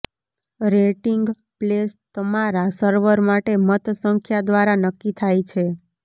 rating place તમારા server માટે મત સંખ્યા દ્વારા નક્કી થાય છે